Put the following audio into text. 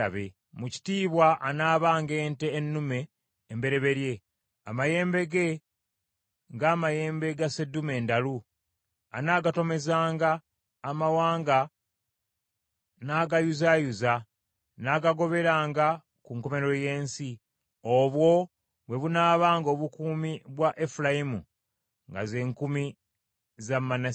Mu kitiibwa anaabanga ente ennume embereberye amayembe ge, ng’amayembe ga sseddume endalu; anaagatomezanga amawanga n’agayuzaayuza, n’agagoberanga ku nkomerero y’ensi. Obwo bwe bunaabanga obukumi bwa Efulayimu nga ze nkumi za Manase.”